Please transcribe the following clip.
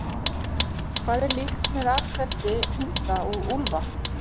Hvað er líkt með atferli hunda og úlfa?